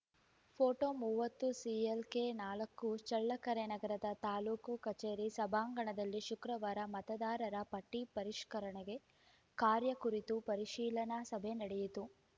photo ಮೂವತ್ತು CLK ನಾಲ್ಕು ಚಳ್ಳಕೆರೆ ನಗರದ ತಾಲ್ಲೂಕು ಕಚೇರಿ ಸಭಾಂಗಣದಲ್ಲಿ ಶುಕ್ರವಾರ ಮತದಾರರ ಪಟ್ಟಿಪರಿಷ್ಕರಣೆಗೆ ಕಾರ್ಯ ಕುರಿತು ಪರಿಶೀಲನಾ ಸಭೆ ನಡೆಯಿತು